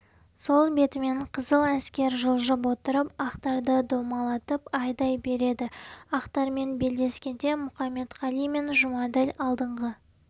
сол бетімен қызыл әскер жылжып отырып ақтарды домалатып айдай береді ақтармен белдескенде мұқаметқали мен жұмаділ алдыңғы